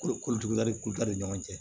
Kolo kolo kolo da ni ɲɔgɔn cɛ